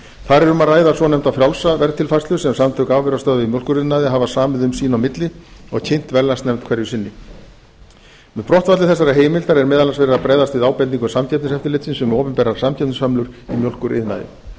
þar er um að ræða svonefnda frjálsa verðtilfærslu sem samtök afurðastöðva í mjólkuriðnaði hafa samið um sín á milli og kynnt verðlagsnefnd hverju sinni með brottfalli þessarar heimildar er meðal annars verið að bregðast við ábendingu samkeppniseftirlitsins um opinberar samkeppnishömlur í mjólkuriðnaði